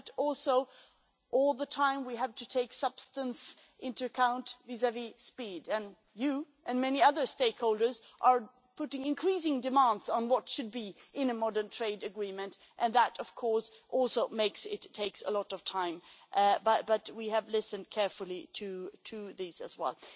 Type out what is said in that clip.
But also, all the time, we have to take substance into account vis-à-vis speed, and you and many other stakeholders are putting increasing demands on what should be in a modern trade agreement and that of course also makes it take a lot of time, as we have listened carefully to these as well.